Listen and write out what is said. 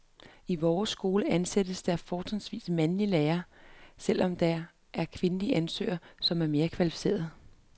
I vores skole ansættes der fortrinsvis mandlige lærere, selv når der er kvindelige ansøgere, som er mere kvalificerede.